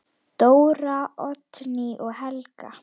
Dóra, Oddný og Helga.